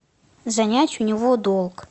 занять у него долг